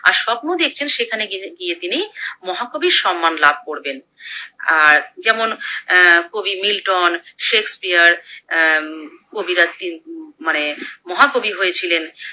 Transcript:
আর স্বপ্ন দেখছেন সেখানে গিনে গিয়ে তিনি মহাকবির সন্মান লাভ করবেন। আর যেমন অ্যা কবি মিল্টন, সেক্সপিয়ার অ্যা কবি রা তিন উমম মানে মহাকবি হয়েছিলেন